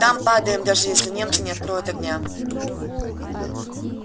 там падаем даже если немцы не откроют огня